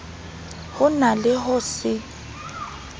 ho na le ho se